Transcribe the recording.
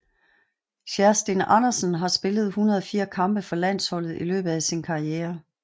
Kjerstin Andersen har spillet 104 kampe for landsholdet i løbet af sin karriere